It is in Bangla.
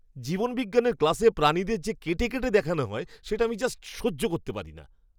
জীববিজ্ঞানের ক্লাসে প্রাণীদের যে কেটে কেটে দেখানো হয় সেটা আমি জাস্ট সহ্য করতে পারি না!